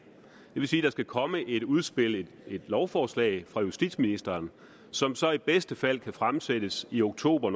vil sige at der skal komme et udspil et lovforslag fra justitsministeren som så i bedste fald kan fremsættes i oktober